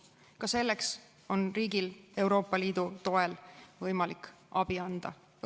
Ka selleks on riigil võimalik Euroopa Liidu toel abi anda.